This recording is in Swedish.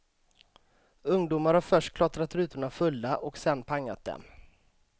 Ungdomar har först klottrat rutorna fulla, och sen pangat dem.